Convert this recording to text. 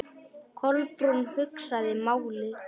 Kolbrún hugsaði málið.